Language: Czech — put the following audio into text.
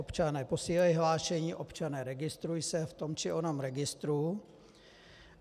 Občane, posílej hlášení, občane, registruj se v tom či onom registru!